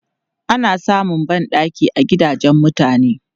Ana samun ban ɗaki a gidajen mutane.